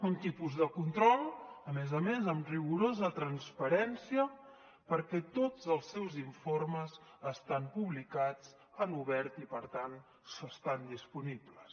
un tipus de control a més a més amb rigorosa transparència perquè tots els seus informes estan publicats en obert i per tant estan disponibles